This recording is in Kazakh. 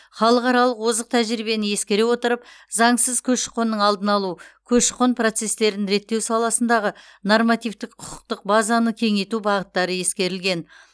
халықаралық озық тәжірибені ескере отырып заңсыз көші қонның алдын алу көші қон процестерін реттеу саласындағы нормативтік құқықтық базаны кеңейту бағыттары ескерілген